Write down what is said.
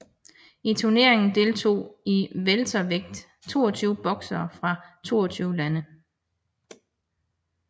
I turneringen deltog i weltervægt 22 boksere fra 22 lande